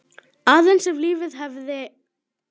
Aðeins ef lífið hefði.?